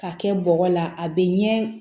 Ka kɛ bɔgɔ la a bɛ ɲɛ